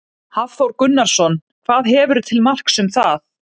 Hafþór Gunnarsson: Hvað hefurðu til marks um það?